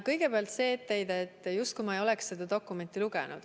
Kõigepealt see etteheide, justkui ma ei oleks seda dokumenti lugenud.